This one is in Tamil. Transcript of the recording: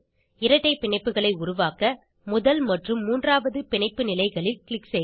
இரட்டை பிணைப்புகளை உருவாக்க முதல் மற்றும் மூன்றாவது பிணைப்பு நிலைகளில் க்ளிக் செய்க